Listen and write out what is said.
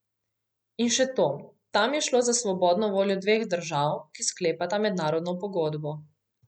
In še to, tam je šlo za svobodno voljo dveh držav, ki sklepata mednarodno pogodbo.